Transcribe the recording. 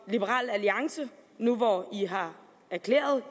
liberal alliance nu hvor de har erklæret